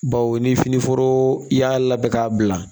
Baw ni finiforo y'a labɛn k'a bila